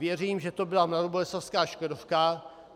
Věřím, že to byla mladoboleslavská Škodovka.